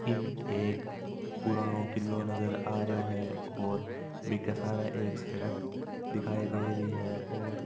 ऐम एक पुराना किलो नज़र आरो है और बीके सारे एक सड़क दखाई दे रही है और --